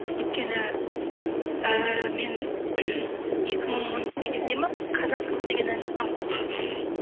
өйткені ііі мен екі мың он сегіз де ма қазақ қызы деген ән жазғанмын іхі